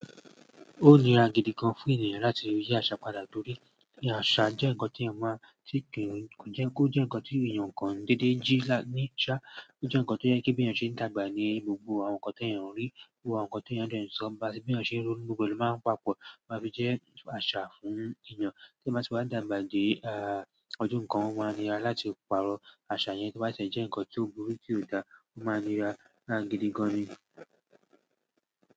Ó níra gidi gan fún ènìyàn láti rí àṣà padà torí àṣà jẹ́ ǹkan tí eeyan n má ti n ki kọ́ jẹ́ ǹkan tí èèyàn kàn dédé jí ní sá, o jẹ́ ǹkan tó jẹ́ kí bí èèyàn ṣe ń dàgbà ní gbogbo àwọn ǹkan tí èèyàn ń rí, gbogbo àwọn ǹkan tí èèyàn ń de so bá n sí bí èèyàn ṣe ń ronu, gbogbo è lo máa ń papọ̀ máa fi jẹ́ àṣà fún èèyàn tí máa sì wá dàgbà di ah ọdún kan, ó máa níra láti pàrọ̀ àṣà yẹn tí ó bá ti e jẹ́ ǹkan to burú ti o dà, ó máa ń nira lára gidi gan ni.